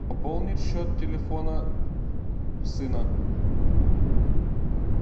пополнить счет телефона сына